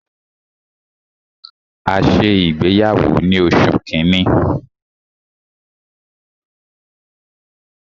A ṣe ìgbéyàwó ni oṣù kínní.